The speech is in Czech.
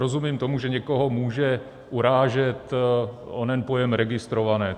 Rozumím tomu, že někoho může urážet onen pojem registrované.